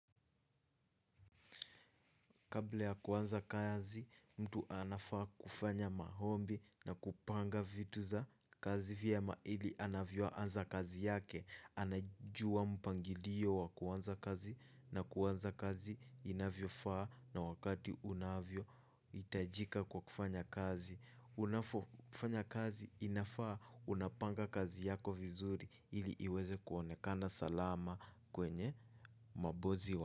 Kabla ya kuanza kazi, mtu anafaa kufanya maombi na kupanga vitu za kazi vyema ili anavyoanza kazi yake. Anajua mpangilio wa kuanza kazi na kuanza kazi inavyofaa na wakati unavyohitajika kwa kufanya kazi. Unafanya kazi inafaa unapanga kazi yako vizuri ili iweze kuonekana salama kwenye mabosi wa.